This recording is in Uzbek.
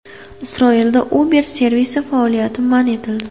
Isroilda Uber servisi faoliyati man etildi.